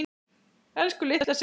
Elsku, litla systir mín.